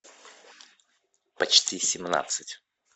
почти семнадцать